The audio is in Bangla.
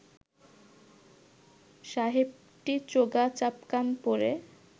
সাহেবটি চোগা চাপকান পরে